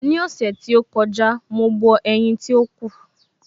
Ní ọ̀sẹ̀ tí ó kọjá, mo bọ ẹ̀yin tí ó kù.